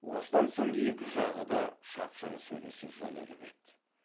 осыдан соң екі жағы да шапшаң сөйлесе жөнеліп еді